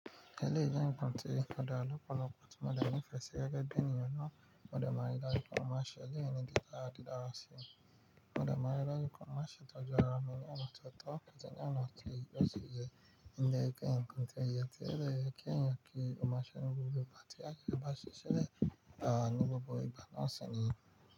Ẹleyi jẹ́ ǹnkan tí ó dara lọ́pọ̀lọpọ̀ tí mo de nìfẹ́e sí ẹ gẹ́gẹ́ bí ènìyàn náà, mo de máa ri daju pe won maa ṣe eleyì ní dídara dídára sí i. Mo dà márẹ́ lákòókò. Mo ṣe tọ́jú ara mi ní ọ̀nà tó tọ́, kí ẹni ọnà tó yí yọ ṣì jẹ́ ǹkan kan tó yẹ ti rẹ̀ kí ẹ̀yin kí ìmúṣẹ nínú gbogbo àti kí ẹ bà ṣe ṣẹlẹ̀ ní gbogbo ìbá náà sẹ́yìn.